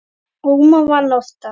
Ómar vann oftast.